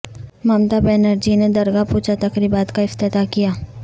ممتا بنرجی نے درگا پوجا تقریبات کا افتتاح کیا